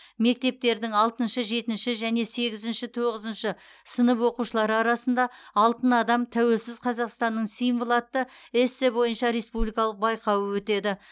мектептердің алтыншы жетінші және сегізінші тоғызыншы сынып оқушылары арасында алтын адам тәуелсіз қазақстанның символы атты эссе бойынша республикалық байқауы өтеді